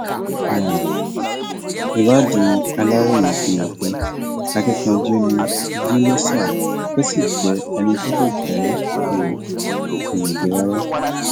um ìwádìí aláròye fi hàn pé akínkanjú ni yínúṣà ó sì jẹ ẹni tí kò fẹ um ìyànjẹ rárá